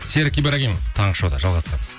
серік ибрагимов таңғы шоуда жалғастырамыз